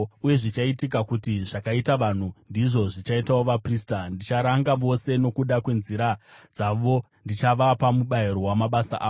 Uye zvichaitika kuti: Zvakaita vanhu, ndizvo zvichaitawo vaprista. Ndicharanga vose, nokuda kwenzira dzavo uye ndichavapa mubayiro wamabasa avo.